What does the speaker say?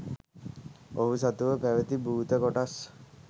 ඔහු සතුව පැවැති භූත කොටස්